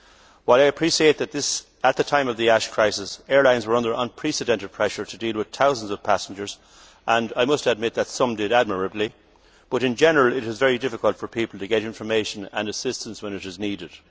While I appreciate that, at the time of the ash crisis, airlines were under unprecedented pressure to deal with thousands of passengers and I must admit that some did admirably in general, it is very difficult for people to get information and assistance when it is needed.